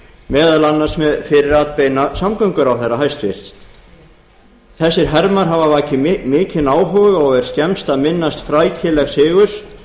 meðal annars fyrir atbeina hæstvirtur samgönguráðherra þessir hermar hafa vakið mikinn áhuga og er skemmst að minnast frækilegs sigurs